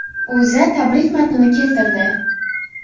O‘zA tabrik matnini keltirdi .